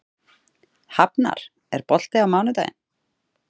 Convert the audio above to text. Hafnar, er bolti á mánudaginn?